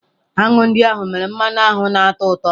Aṅụ ndị ahụ mere mmanụ aṅụ na-atọ ụtọ.